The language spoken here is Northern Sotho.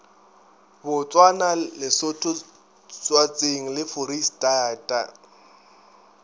botswana lesotho swatseng le foreistata